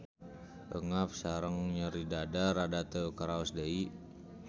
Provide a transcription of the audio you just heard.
Eungap sareng nyeri dada rada teu karaos deui.